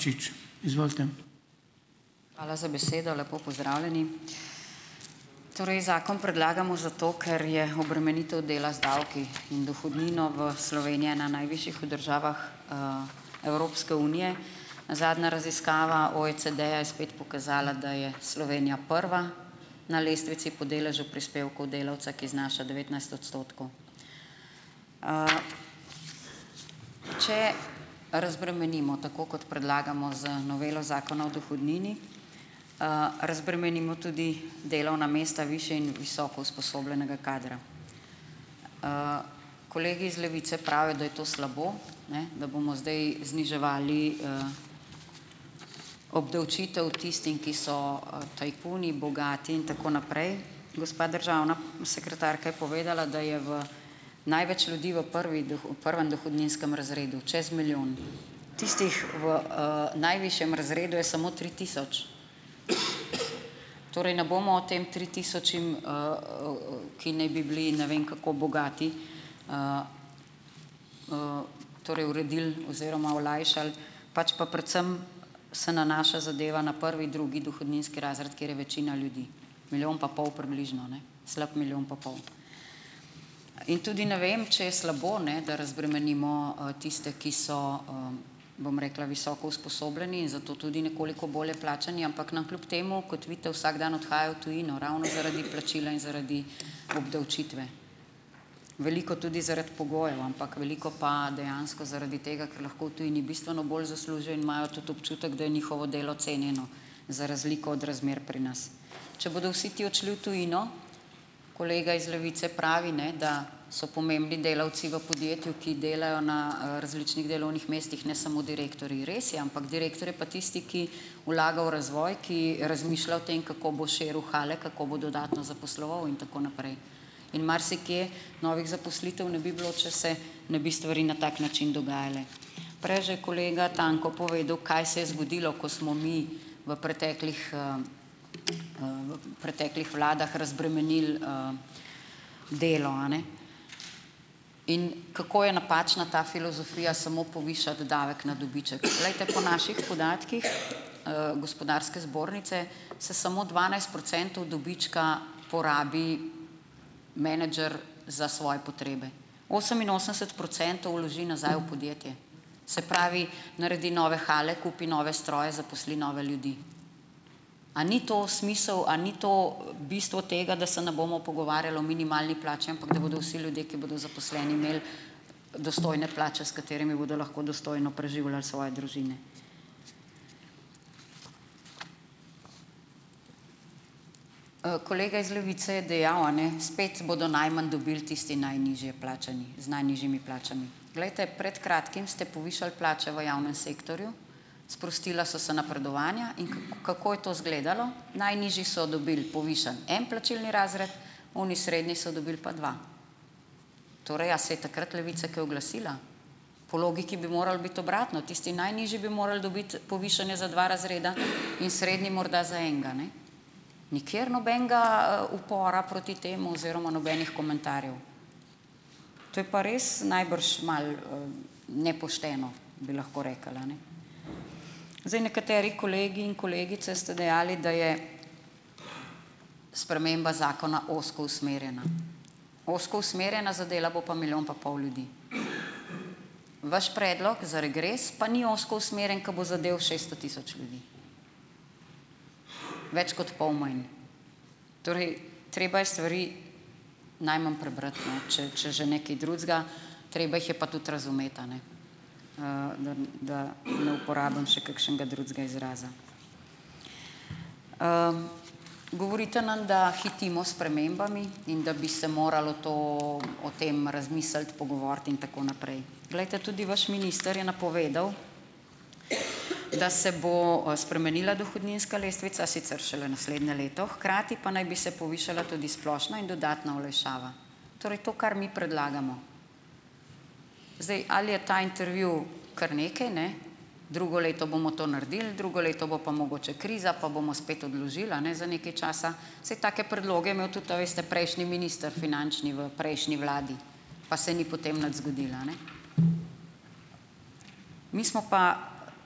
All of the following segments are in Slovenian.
Hvala za besedo. Lepo pozdravljeni! Torej, zakon predlagamo zato, ker je obremenitev dela z davki in dohodnino v Sloveniji ena najvišjih v državah, Evropske unije. Zadnja raziskava OECD-ja je spet pokazala, da je Slovenija prva na lestvici po deležu prispevkov delavca, ki znaša devetnajst odstotkov. Če razbremenimo, tako kot predlagamo z novelo Zakona o dohodnini, razbremenimo tudi delovna mesta višje in visoko usposobljenega kadra. Kolegi iz Levice pravijo, da je to slabo, ne da bomo zdaj zniževali, obdavčitev tistim, ki so, tajkuni, bogati in tako naprej. Gospa državna, sekretarka je povedala, da je v največ ljudi v prvi v prvem dohodninskem razredu, čez milijon. Tistih v, najvišjem razredu je samo tri tisoč. Torej ne bomo o tem tri tisočem, ki naj bi bili ne vem kako bogati torej uredili oziroma olajšali, pač pa predvsem se nanaša zadeva na prvi, drugi dohodninski razred, kjer je večina ljudi, milijon pa pol približno ne, slab milijon pa pol. In tudi ne vem, če je slabo ne, da razbremenimo, tiste, ki so bom rekla, visoko usposobljeni in zato tudi nekoliko bolje plačani, ampak nam kljub temu, kot vidite, vsak dan odhajajo v tujino, ravno zaradi plačila in zaradi obdavčitve. Veliko tudi zaradi pogojev, ampak veliko pa dejansko zaradi tega, ker lahko v tujini bistveno bolj zaslužijo in imajo tudi občutek, da je njihovo delo cenjeno, za razliko od razmer pri nas. Če bodo vsi ti odšli v tujino, kolega iz Levice pravi, ne, da so pomembni delavci v podjetju, ki delajo na, različnih delovnih mestih, ne samo direktorji. Res je, ampak direktor je pa tisti, ki vlaga v razvoj, ki razmišlja o tem, kako bo širil hale, kako bo dodatno zaposloval in tako naprej. In marsikje novih zaposlitev ne bi bilo, če se ne bi stvari na tak način dogajale. Prej je že kolega Tanko povedal, kaj se je zgodilo, ko smo mi v preteklih, v preteklih vladah razbremenili, delo a ne. In kako je napačna ta filozofija samo povišati davek na dobiček. Poglejte, po naših podatkih, Gospodarske zbornice se samo dvanajst procentov dobička porabi menedžer za svoje potrebe. Oseminosemdeset procentov vloži nazaj v podjetje. Se pravi, naredi nove hale, kupi nove stroje, zaposli nove ljudi. A ni to smisel? A ni to, bistvo tega, da se ne bomo pogovarjali o minimalni plači, ampak da bodo vsi ljudje, ki bodo zaposleni, imeli dostojne plače, s katerimi bodo lahko dostojno preživljali svoje družine? Kolega iz Levice je dejal, a ne, spet bodo najmanj dobili tisti najnižje plačani z najnižjimi plačami. Glejte, pred kratkim ste povišali plače v javnem sektorju, sprostila so se napredovanja. In kako je to izgledalo? Najnižji so dobili povišan en plačilni razred, oni srednji so dobili pa dva. Torej, a se je takrat Levica kaj oglasila? Po logiki bi moralo biti obratno, tisti najnižji bi morali dobiti povišanje za dva razreda in srednji morda za enega, ne. Nikjer nobenega, upora proti temu oziroma nobenih komentarjev. To je pa res najbrž malo, nepošteno, bi lahko rekli a ne. Zdaj nekateri kolegi in kolegice ste dejali, da je sprememba zakona ozko usmerjena. Ozko usmerjena, zadela bo pa milijon pa pol ljudi. Vaš predlog za regres pa ni ozko usmerjen, ko bo zadel šesto tisoč ljudi. Več kot pol manj. Torej. Treba je stvari najmanj prebrati, ne, če že ne kaj drugega, treba jih je pa tudi razumeti, a ne, dan da ne uporabim še kakšnega drugega izraza. Govorite nam, da hitimo s spremembami in da bi se moralo to o tem razmisliti, pogovoriti in tako naprej. Poglejte, tudi boš minister je napovedal, da se bo spremenila dohodninska lestvica, sicer šele naslednje leto, hkrati pa naj bi se povišala tudi splošna in dodatna olajšava. Torej to, kar mi predlagamo. Zdaj ali je ta intervju kar nekaj, ne? Drugo leto bomo to naredili, drugo leto bo pa mogoče kriza, pa bomo spet odložili, a ne za nekaj časa. Saj take predloge je imel tudi, a veste, prejšnji minister finančni v prejšnji vladi, pa se ni potem nič zgodilo, a ne. Mi smo pa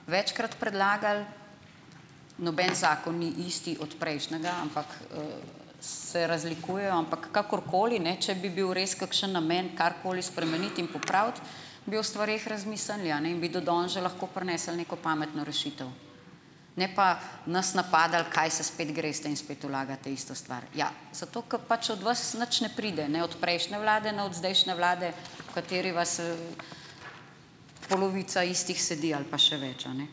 večkrat predlagali, noben zakon ni isti od prejšnjega, ampak, se razlikujejo. Ampak kakorkoli, ne, če bi bil res kakšen namen karkoli spremeniti in popraviti, bi o stvareh razmislili, a ne, in bi do danes že lahko prinesli neko pametno rešitev. Ne pa nas napadali, kaj se spet greste in spet vlagate isto stvar. Ja, zato, ker pač od vas nič ne pride. Ne od prejšnje vlade, ne od zdajšnje vlade, v kateri vas, polovica istih sedi ali pa še več, a ne.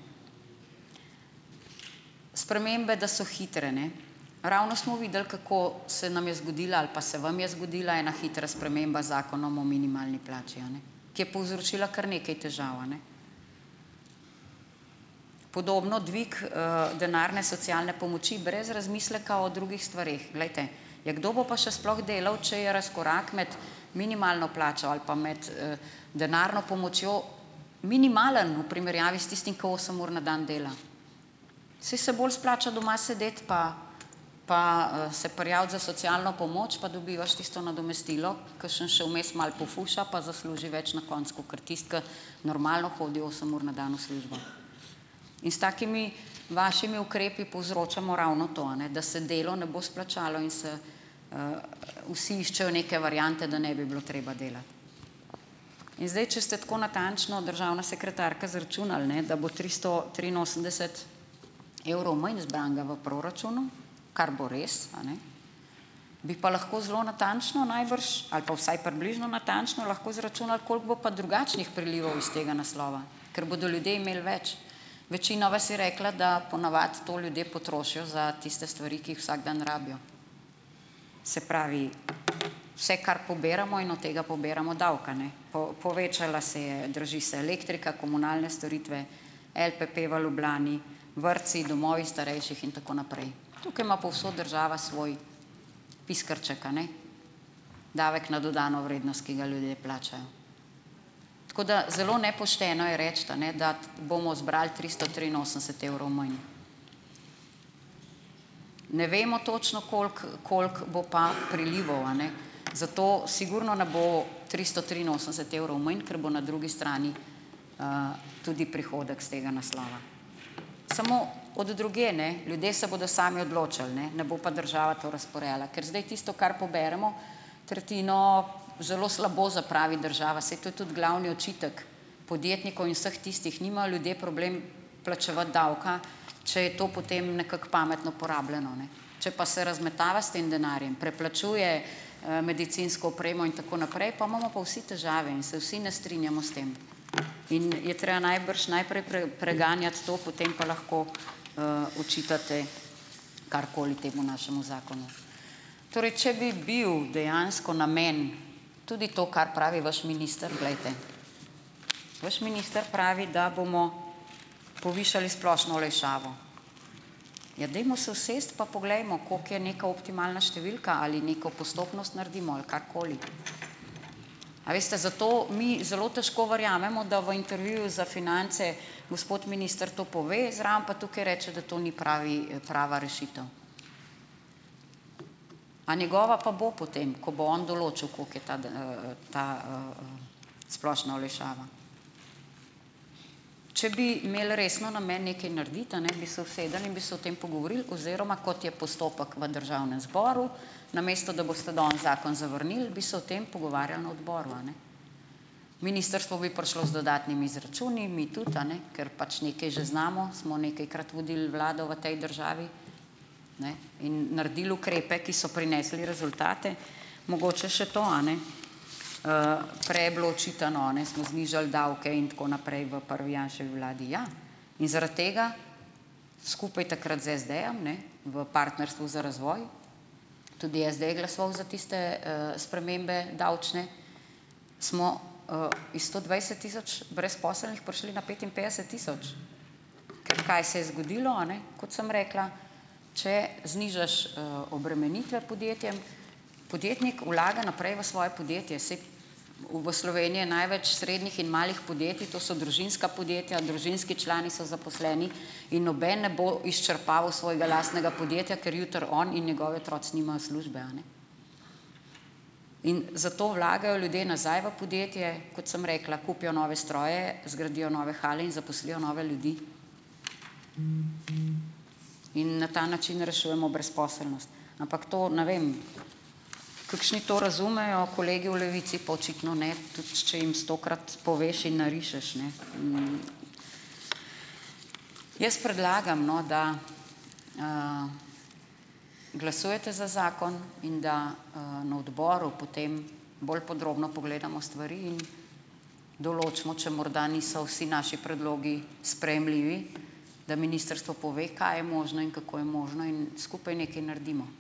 Spremembe, da so hitre ne. Ravno smo videli, kako se nam je zgodila ali pa se vam je zgodila ena hitra sprememba z Zakonom o minimalni plači, a ne, ki je povzročila kar nekaj težav, a ne. Podobno dvig, denarne socialne pomoči brez razmisleka o drugih stvareh. Glejte, ja, kdo bo pa še sploh delal, če je razkorak med minimalno plačo ali pa med, denarno pomočjo minimalen v primerjavi s tistim, ki osem ur na dan dela. Saj se bolj splača doma sedeti, pa pa, se prijaviti za socialno pomoč, pa dobivaš tisto nadomestilo, kakšen še vmes malo pofuša, pa zasluži več na koncu kakor tisti, ki normalno hodi osem ur na dan v službo. In s takimi vašimi ukrepi povzročamo ravno to, a ne, da se delo ne bo splačalo in se, vsi iščejo neke variante, da ne bi bilo treba delati. In zdaj, če ste tako natančno, državna sekretarka, izračunali, ne, da bo tristo triinosemdeset evrov manj zbranega v proračunu, kar bo res, a ne, bi pa lahko zelo natančno najbrž ali pa vsaj približno natančno lahko izračunali, koliko bo pa drugačnih prilivov iz tega naslova, ker bodo ljudje imeli več. Večina vas je rekla, da po navadi to ljudje potrošijo za tiste stvari, ki jih vsak dan rabijo. Se pravi, vse, kar poberemo, in od tega poberemo davka ne. povečala se je, draži se elektrika, komunalne storitve, LPP v Ljubljani, vrtci, domovi starejših in tako naprej. Tukaj ima povsod država svoj piskrček, a ne, davek na dodano vrednost, ki ga ljudje plačajo. Tako da zelo nepošteno je reči, a ne, dati bomo zbrali tristo triinosemdeset evrov manj. Ne vemo točno, koliko koliko bo pa prilivov, a ne. Zato sigurno ne bo tristo triinosemdeset evrov manj, ker bo na drugi strani, tudi prihodek iz tega naslova, samo od drugje, ne. Ljudje se bodo sami odločal, ne, ne bo pa država to razporejala. Ker zdaj tisto, kar poberemo, tretjino zelo slabo zapravi država, saj to je tudi glavni očitek podjetnikov in vseh tistih. Nimajo ljudje problem plačevati davka, če je to potem nekako pametno porabljeno, ne. Če pa se razmetava s tem denarjem, preplačuje, medicinsko opremo in tako naprej, po imamo pa vsi težave in se vsi ne strinjamo s tem in je treba najbrž najprej preganjati to, potem pa lahko, očitate karkoli temu našemu zakonu. Torej, če bi bil dejansko namen tudi to, kar pravi vaš minister, glejte, vaš minister pravi, da bomo povišali splošno olajšavo. Ja, dajmo se usesti, pa poglejmo, koliko je neka optimalna številka, ali neko postopnost naredimo ali karkoli. A veste, zato mi zelo težko verjamemo, da v intervjuju za Finance gospod minister to pove, zraven pa tukaj reče, da to ni pravi, prava rešitev. A njegova pa bo potem, ko bo on določil, koliko je ta splošna olajšava? Če bi imeli resen namen nekaj narediti, a ne, bi se usedli in bi se o tem pogovorili oziroma, kot je postopek v državnem zboru, namesto da boste danes zakon zavrnili, bi se o tem pogovarjali na odboru, a ne. Ministrstvo bi prišlo z dodatnimi izračuni, mi tudi, a ne, ker pač nekaj že znamo, smo nekajkrat vodili vlado v tej državi, ne, in naredili ukrepe, ki so prinesli rezultate. Mogoče še to, a ne, prej je bilo očitano, a ne, smo znižali davke in tako naprej v prvi Janševi vladi, ja, in zaradi tega skupaj takrat z SD-jem ne v partnerstvu za razvoj, tudi SD je glasoval za tiste, spremembe davčne, smo, iz sto dvajset tisoč brezposelnih prišli na petinpetdeset tisoč. Kaj se je zgodilo, a ne? Kot sem rekla, če znižaš, obremenitve podjetjem, podjetnik vlaga naprej v svoje podjetje, saj v Sloveniji je največ srednjih in malih podjetij, to so družinska podjetja, družinski člani so zaposleni in noben ne bo izčrpaval svojega lastnega podjetja, ker jutri on in njegovi otroci nimajo službe, a ne. In zato vlagajo ljudje nazaj v podjetje. Kot sem rekla, kupijo nove stroje, zgradijo nove hale in zaposlijo nove ljudi. In na ta način rešujemo brezposelnost. Ampak to, ne vem, kakšni to razumejo, kolegi v Levici pa očitno ne, tudi če jim stokrat poveš in narišeš, ne. Jaz predlagam, no, da glasujete za zakon in da, na odboru potem bolj podrobno pogledamo stvari in določimo, če morda niso vsi naši predlogi sprejemljivi, da ministrstvo pove, kaj je možno in kako je možno, in skupaj nekaj naredimo.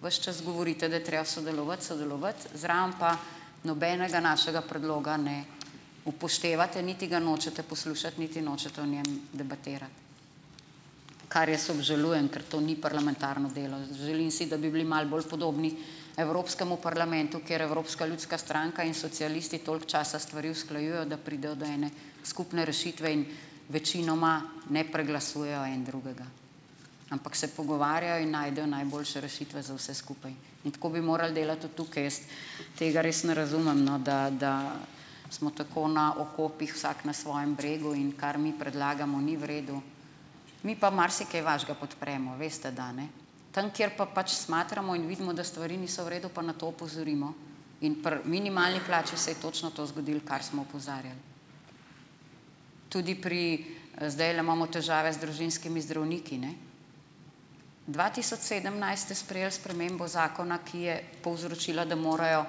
Ves čas govorite, da je treba sodelovati, sodelovati, zraven pa nobenega našega predloga ne upoštevate, niti ga nočete poslušati niti nočete o njem debatirati, kar jaz obžalujem, ker to ni parlamentarno delo. Želim si, da bi bili malo bolj podobni evropskemu parlamentu, kjer Evropska ljudska stranka in socialisti toliko časa stvari usklajujejo, da pridejo do ene skupne rešitve in večinoma ne preglasujejo en drugega, ampak se pogovarjajo in najdejo najboljše rešitve za vse skupaj in tako bi morali delati tudi tukaj. Jaz tega res ne razumem no, da da smo tako na okopih vsak na svojem bregu, in kar mi predlagamo, ni v redu. Mi pa marsikaj vašega podpremo, veste, da, ne, tam, kjer pa pač smatramo in vidimo, da stvari niso v redu, pa na to opozorimo in pri minimalni plači se je točno to zgodilo, kar smo opozarjali. Tudi pri. Zdajle imamo težave z družinskimi zdravniki, ne. Dva tisoč sedemnajst ste sprejeli spremembo zakona, ki je povzročila, da morajo,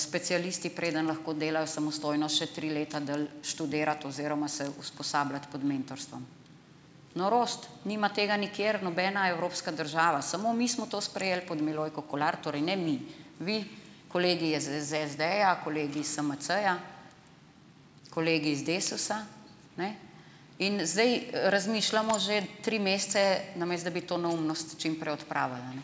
specialisti, preden lahko delajo, samostojno še tri leta dlje študirati oziroma se usposabljati pod mentorstvom - norost. Nima tega nikjer nobena evropska država, samo mi smo to sprejeli pod Milojko Kolar - torej ne mi, vi kolegi SD-ja, kolegi is SMC-ja, kolegi iz Desusa, ne, in zdaj razmišljamo že tri mesece, namesto da bi to neumnost čim prej odpravili, a ne,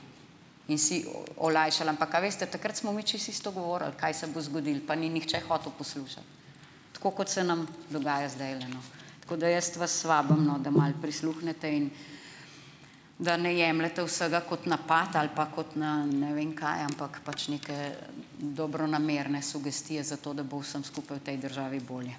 in si, olajšali. Ampak a veste, takrat smo mi čisto isto govorili, kaj se bo zgodilo, pa ni nihče hotel poslušati. Tako kot se nam dogaja zdajle, no. Tako da jaz vas vabim no, da malo prisluhnete in da ne jemljete vsega kot napad ali pa kot na ne vem kaj, ampak pač neke dobronamerne sugestije, zato da bo vsem skupaj v tej državi bolje.